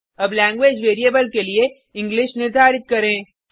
अब language variable के लिए इंग्लिश निर्धारित करें